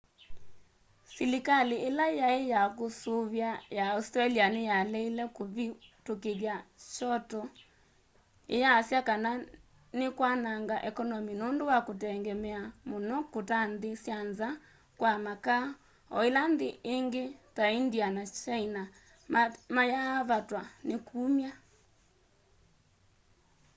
silikali ila yai ya kusuvia ya australia niyaleile kuvitukithya kyoto iyasya kana nikwananga ekonomi nundu wa kutengemea muno kuta nthi sya nza kwa makaa o ila nthi ingi ta india na kyaina mayaavatwa ni kumya